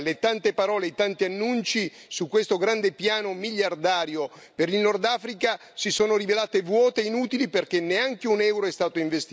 Le tante parole, i tanti annunci, su questo grande piano miliardario per il Nordafrica, si sono rivelati vuoti, inutili perché neanche un euro è stato investito.